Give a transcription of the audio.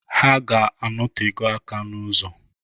Ha ga-anotego aka n'ụzọ.